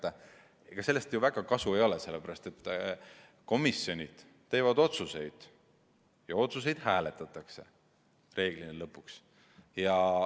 Aga ega sellest ju väga kasu ei ole, sellepärast et komisjonid teevad otsuseid ja otsuseid reeglina lõpuks hääletatakse.